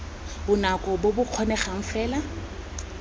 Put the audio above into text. bonako bo bo kgonegang fela